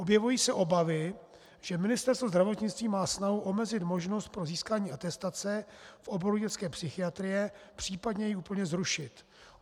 Objevují se obavy, že Ministerstvo zdravotnictví má snahu omezit možnost pro získání atestace v oboru dětské psychiatrie, případně ji úplně zrušit.